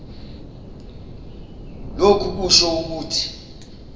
lokhu kusho ukuthi